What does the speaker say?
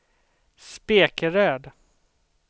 Spekeröd